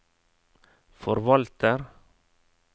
forvalter